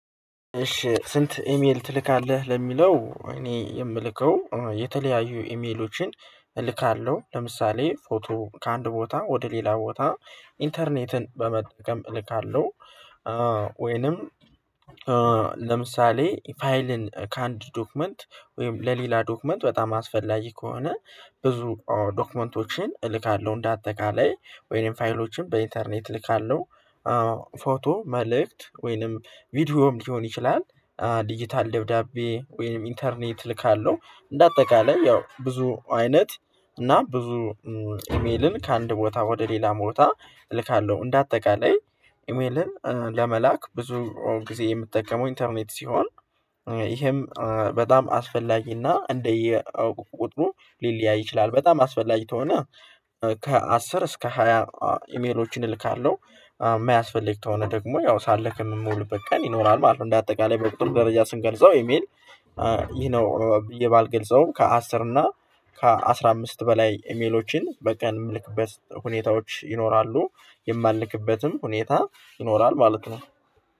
እሺ ስንት ኢሜል ትልካለህ ለሚለው እኔ የምልከው የተለያዩ ኢሜሎችን እልካለሁ ለምሳሌ ፎቶ ከአንድ ቦታ ወደ ሌላ ቦታ ኢንተርኔትን በመጠቀም እልካለሁ። ወይንም ለምሳሌ ፋይልን ከአንድ ዶክመንት ወይም ለሌላ ዶክመንት በጣም አስፈላጊ ከሆነ ብዙ ዶክመንቶችን እልካለሁ እንደ አጠቃላይ ወይም ፋይሎችን በኢንተርኔት እልካለሁ። ፎቶ መልእክት ወይንም ቪዲዮም ሊሆን ይችላል ዲጂታል ደብዳቤ ወይም ኢንተርኔት እልካለሁ። እንደ አጠቃላይ ያው ብዙ አይነት እና ብዙ ኢሜልን ከአንድ ቦታ ወደ ሌላ ቦታ እልካለሁ። እንደ አጠቃላይ ኢሜልን ለመላክ ብዙ ጊዜ የምጠቀመው ኢንተርኔት ሲሆን ይህም በጣም አስፈላጊና እንደየ ቁጥሩ ሊለያይ ይችላል። በጣም አስፈላጊ ከሆነ ከአስር እስከ ሃያ ኢሜሎችን እልካለሁ የማያስፈልግ ከሆነ ደግሞ ያው ሳልክም የምውልበት ቀን ይኖራል ማለት ነው። እንደ አጠቃላይ በቁጥር ደረጃ ስንገልጸው ኢሜል። ይህ ነው ብዬ ባልገልጸውም ከአስር እና ከአሥራ አምስት በላይ ኢሜሎችን በቀን የምልክበት ሁኔታዎች ይኖራሉ። የማልክበትም ሁኔታ ይኖራል ማለት ነው